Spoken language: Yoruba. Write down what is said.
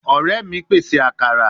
Ore mi pese akara